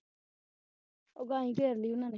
ਉਹ ਗਾਈ ਘੇਰ ਲਈ ਉਹਨਾਂ ਨੇ